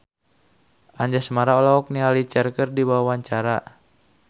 Anjasmara olohok ningali Cher keur diwawancara